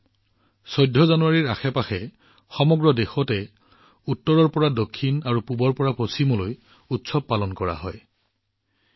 এই মাহত জানুৱাৰীৰ প্ৰায় ১৪ তাৰিখৰ পৰা সমগ্ৰ দেশ উত্তৰৰ পৰা দক্ষিণলৈ আৰু পূবৰ পৰা পশ্চিমলৈ উৎসৱৰ ৰঙত জিলিকি উঠিছে